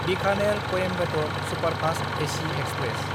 बिखानेर–कॊइम्बेटर superfast AC express